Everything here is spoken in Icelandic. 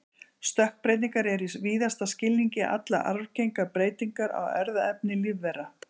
stökkbreytingar eru í víðasta skilningi allar arfgengar breytingar á erfðaefni lífvera